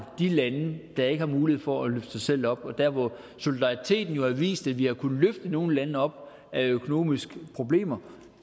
de lande der ikke har mulighed for at løfte sig selv op og der hvor solidariteten jo har vist at vi har kunnet løfte nogle lande op af økonomiske problemer